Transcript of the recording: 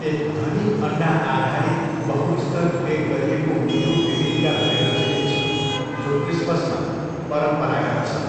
एक धनी अन्डाआधारित, बहुस्तर बेक गरिएको मिठो बेबिन्का भनेर चिनिन्छ जो क्रिसमसमा परम्परागत छ।